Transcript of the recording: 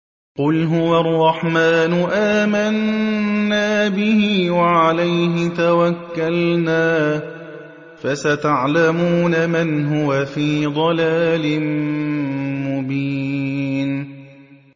قُلْ هُوَ الرَّحْمَٰنُ آمَنَّا بِهِ وَعَلَيْهِ تَوَكَّلْنَا ۖ فَسَتَعْلَمُونَ مَنْ هُوَ فِي ضَلَالٍ مُّبِينٍ